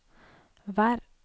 vær